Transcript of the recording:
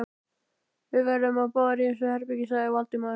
Við verðum báðir í þessu herbergi sagði Valdimar.